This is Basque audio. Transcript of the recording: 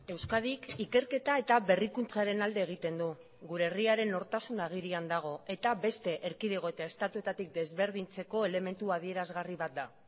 euskadik ikerketa eta berrikuntzaren alde egiten du gure herriaren nortasuna agirian dago eta beste erkidego eta estatuetatik desberdintzeko elementu adierazgarri bat da